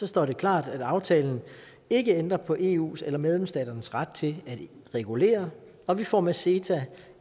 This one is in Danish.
står det klart at aftalen ikke ændrer på eus eller medlemsstaternes ret til at regulere og vi får med ceta